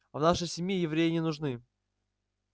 в нашей семье евреи не нужны